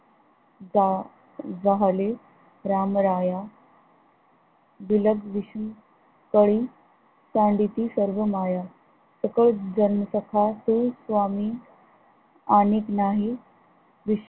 जा जाहले रामराया बिलगविष्णू तळी सांडती सर्व माया, सकळ जन सखातु स्वामी आणिक नाही विष